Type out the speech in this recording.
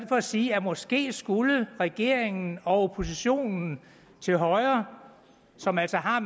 for at sige at måske skulle regeringen og oppositionen til højre som altså har